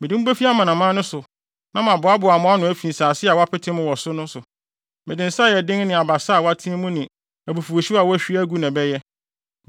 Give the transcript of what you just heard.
Mede mo befi amanaman no so, na maboaboa mo ano afi nsase a wɔapete mo wɔ so no so; mede nsa a ɛyɛ den ne abasa a wɔateɛ mu ne abufuwhyew a wɔahwie agu na ɛbɛyɛ.